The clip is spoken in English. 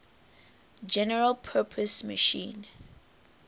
general purpose machine